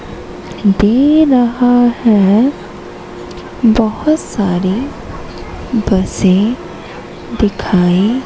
दे रहा है बहोत सारी बसें दिखाई--